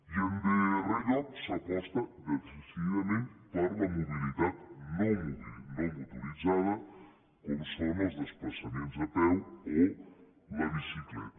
i en darrer lloc s’aposta decididament per la mobilitat no motoritzada com són els desplaçaments a peu o la bicicleta